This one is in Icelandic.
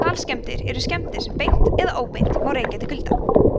kalskemmdir eru skemmdir sem beint eða óbeint má rekja til kulda